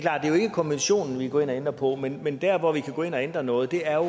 konventionen vi går ind og ændrer på men men dér hvor vi kan gå ind og ændre noget er